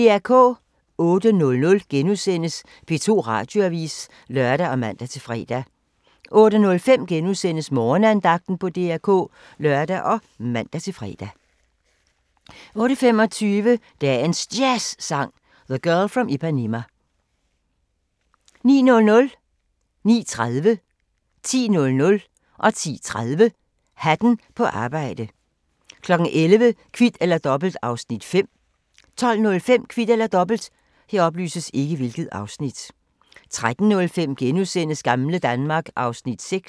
08:00: P2 Radioavis *(lør og man-fre) 08:05: Morgenandagten på DR K *(lør og man-fre) 08:25: Dagens Jazzsang: The Girl From Ipanema 09:00: Hatten på arbejde 09:30: Hatten på arbejde 10:00: Hatten på arbejde 10:30: Hatten på arbejde 11:00: Kvit eller Dobbelt (Afs. 5) 12:05: Kvit eller Dobbelt 13:05: Gamle Danmark (Afs. 6)*